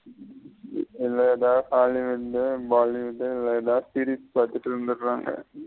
இல்ல எதா hollywood bollywood இதுல எதாவது serious பாத்துட்டு இருந்துருரங்க.